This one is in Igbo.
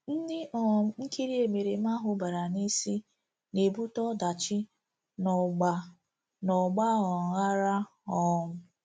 Ndị um nkiri emereme ahụ bara n'isi na-ebute ọdachi na ọgba na ọgba um aghara um.